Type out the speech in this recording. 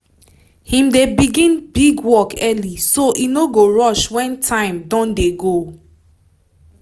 him dey begin big work early so e no go rush wen time don dey go